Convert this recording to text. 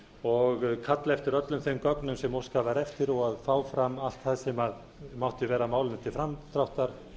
og kalla eftir öllum þeim gögnum sem óskað var eftir og að fá fram allt það sem mátti verða málinu til framdráttar